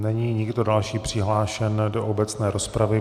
Není nikdo další přihlášen do obecné rozpravy.